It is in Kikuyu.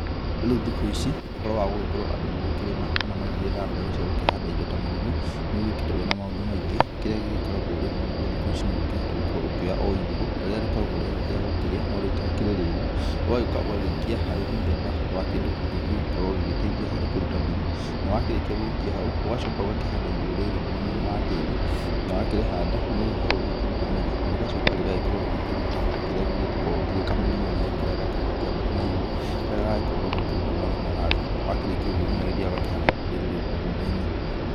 Rĩu thikũ ici ũhoro wa gũgĩkorwo andũ magĩkĩrĩma kana magĩgĩetha mbeũ cia gũkĩhanda indo ta marigũ, nĩ ũgĩũkĩte wĩna maũndũ maingĩ, kĩrĩa gĩgĩkoragwo rĩu thikũ ici no ũkĩhote gũkorwo ũkĩoya o irigũ, ta rĩrĩa rĩkoragwo rĩa gũkĩrĩa no rĩtakĩrĩ rĩru, ũgagĩũka ũgagĩikia harĩ mũthemba wa kĩndũ gĩgũgĩkorwo gĩgĩteithia harĩ kũruta mĩri na wakĩrĩkia gũgĩikia hau, ũgacoka ũgakĩhanda irigũ rĩrĩ mwenainĩ wa tĩri na wakĩrĩhanda nĩ rĩgĩkoragwo rĩgĩkĩruta mĩrĩ na rĩgacoka rĩgagĩkorwo rĩgĩkĩruta kĩrĩa gĩkoragwo kĩrĩ kamũriaria karĩa gakoragwo gagĩkĩambata na igũrũ karĩa gagakorwo rĩu gakĩruta mathangũ, wakĩrĩkia ũguo mũndũ nĩ agĩthiaga ũgakĩhanda irigũ rĩrĩ rĩu mũgũnda-inĩ